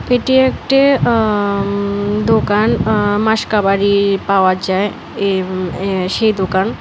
এটি একটি আ দোকান আ মাসকাবাড়ি পাওয়া যায় এ সেই দোকান।